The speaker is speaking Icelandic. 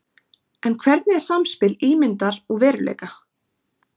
En hvernig er samspil ímyndar og veruleika?